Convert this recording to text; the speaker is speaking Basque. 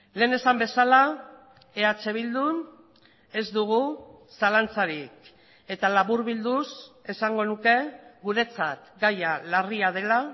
lehen esan bezala eh bildun ez dugu zalantzarik eta laburbilduz esango nuke guretzat gaia larria dela